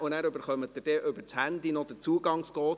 Danach erhalten Sie über das Handy noch den Zugangscode.